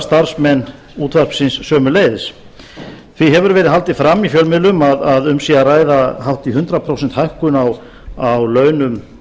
starfsmenn útvarpsins sömuleiðis því hefur verið haldið fram í fjölmiðlum að um sé að ræða hátt í hundrað prósent hækkun á launum